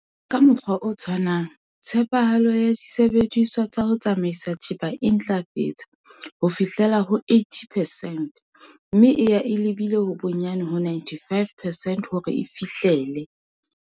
Ka mokgwa o tshwanang, tshepahalo ya disebediswa tsa ho tsamaisa thepa e ntlafetse ho fihla ho 80 percent mme e ya e lebile bonyane ho 95 percent hore e fihlele.